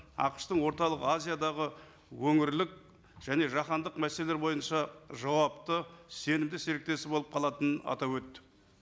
ақш тың орталық азиядағы өңірлік және жаһандық мәселелері бойынша жауапты сенімді серіктесі болып қалатынын атап өтті